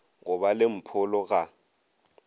go ba le mpholo ga